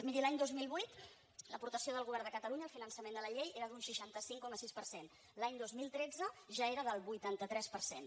miri l’any dos mil vuit l’apor·tació del govern de catalunya al finançament de la llei era d’un seixanta cinc coma sis per cent l’any dos mil tretze ja era del vuitanta tres per cent